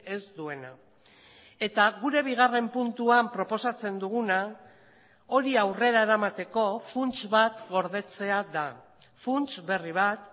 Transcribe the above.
ez duena eta gure bigarren puntuan proposatzen duguna hori aurrera eramateko funts bat gordetzea da funts berri bat